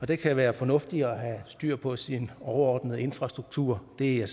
det kan være fornuftigt at have styr på sin overordnede infrastruktur det er jeg